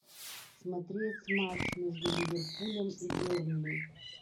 смотреть матч между ливерпулем и бернли